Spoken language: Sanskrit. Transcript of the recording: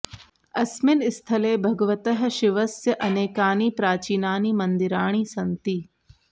अस्मिन् स्थले भगवतः शिवस्य अनेकानि प्राचीनानि मन्दिराणि सन्ति